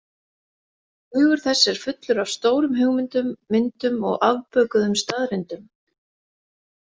Hugur þess er fullur af stórum hugmyndum, myndum og afbökuðum staðreyndum.